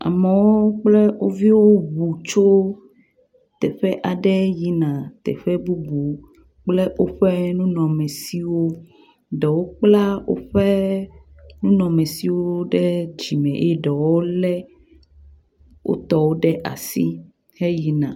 Amewo kple wo viwo ŋu tso teƒe aɖe yina teƒe bubu kple woƒe nunɔmesiwo. Ɖewo kpla woƒe nunɔmesiwo ɖe dzime eye ɖewo wolé wo tɔwo ɖe asi heyina.